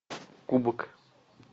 кубок